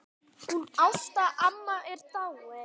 Hún Ásta amma er dáin.